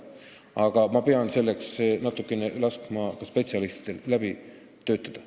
Aga ma pean laskma spetsialistidel eelnõu natuke läbi töötada.